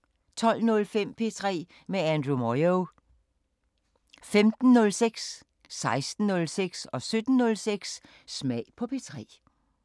12:05: P3 med Andrew Moyo 15:06: Smag på P3 16:06: Smag på P3 17:06: Smag på P3